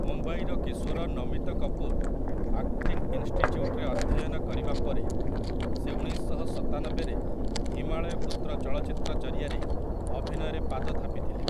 ମୁମ୍ବାଇର କିଶୋର ନମିତ କପୁର ଆକ୍ଟିଙ୍ଗ ଇନଷ୍ଟିଚ୍ୟୁଟରେ ଅଧ୍ୟୟନ କରିବା ପରେ, ସେ ଉଣେଇଶଶହ ସତାନବେ ରେ 'ହିମାଳୟ ପୁତ୍ର' ଚଳଚ୍ଚିତ୍ର ଜରିଆରେ ଅଭିନୟରେ ପାଦ ଥାପିଥିଲେ ।